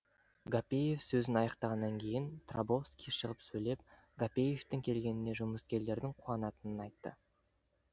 гапеев сөзін аяқтағаннан кейін трабовский шығып сөйлеп гапеевтің келгеніне жұмыскерлердің қуанатынын айтты